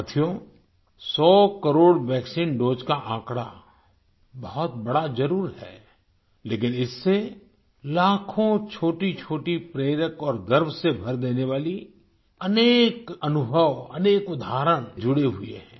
साथियो 100 crore vaccine doses का आंकड़ा बहुत बड़ा जरुर है लेकिन इससे लाखों छोटीछोटी प्रेरक और गर्व से भर देने वाली अनेक अनुभव अनेक उदाहरण जुड़े हुए हैं